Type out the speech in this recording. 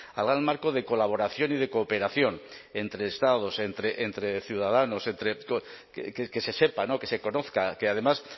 al gran marco de colaboración y de cooperación entre estados entre ciudadanos entre que se sepa que se conozca que además